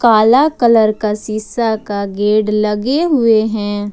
काला कलर का शीशा का गेड लगे हुए हैं।